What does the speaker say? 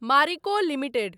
Marico limited